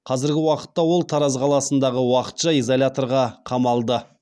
қазіргі уақытта ол тараз қаласындағы уақытша изоляторға қамалды